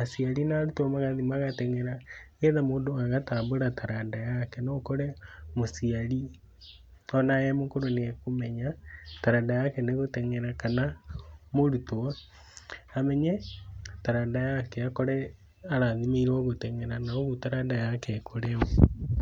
aciari na arutwo magathiĩ magatenyera nĩgetha mũndũ agatambũra taranda yake, no ũkore mũciari ona e mũkũrũ nĩ e kũmenya taranda yake nĩ gutenyera kana mũrutwo amenye taranda yake akore arathimĩirwo gũtenyera na ũgũo taranda yake ĩkũre.